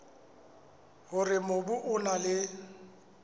hore mobu o na le